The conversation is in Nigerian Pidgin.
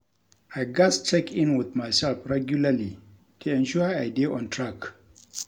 I gats check in with myself regularly to ensure I dey on track.